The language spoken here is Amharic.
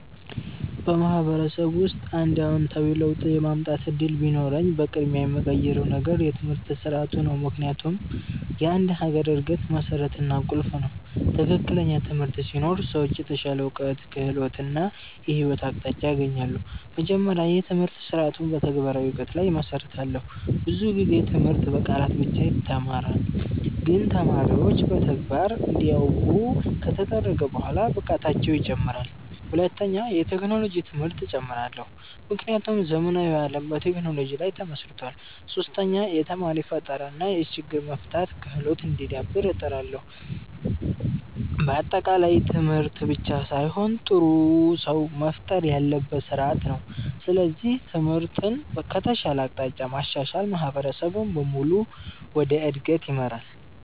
በማህበረሰብ ውስጥ አንድ አዎንታዊ ለውጥ የማምጣት እድል ቢኖረኝ፣ በቅድሚያ የምቀይረው ነገር የትምህርት ስርዓቱ ነው። ምክንያቱም ትምህርት የአንድ ሀገር እድገት መሠረት እና ቁልፍ ነው። ትክክለኛ ትምህርት ሲኖር ሰዎች የተሻለ እውቀት፣ ክህሎት እና የህይወት አቅጣጫ ያገኛሉ። መጀመሪያ፣ የትምህርት ስርዓቱን በተግባራዊ እውቀት ላይ እመሰርታለሁ። ብዙ ጊዜ ትምህርት በቃላት ብቻ ይተማራል፣ ግን ተማሪዎች በተግባር እንዲያውቁ ከተደረገ በኋላ ብቃታቸው ይጨምራል። ሁለተኛ፣ የቴክኖሎጂ ትምህርት እጨምራለሁ፣ ምክንያቱም ዘመናዊ ዓለም በቴክኖሎጂ ላይ ተመስርቷል። ሶስተኛ፣ የተማሪ ፈጠራ እና የችግር መፍታት ክህሎት እንዲዳብር እጥራለሁ። በአጠቃላይ ትምህርት ብቻ ሳይሆን ጥሩ ሰው መፍጠር ያለበት ስርዓት ነው። ስለዚህ ትምህርትን ከተሻለ አቅጣጫ ማሻሻል ማህበረሰብን በሙሉ ወደ እድገት ይመራል።